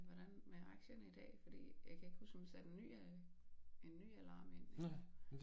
Hvordan med aktierne i dag fordi jeg kan ikke huske om jeg satte en ny en ny alarm ind